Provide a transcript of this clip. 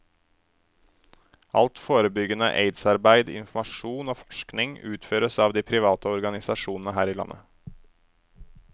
Alt forebyggende aidsarbeid, informasjon og forskning utføres av de private organisasjonene her i landet.